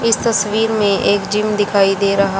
इस तस्वीर में एक जिम दिखाई दे रहा--